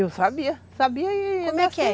Eu sabia, sabia e... Como é que é?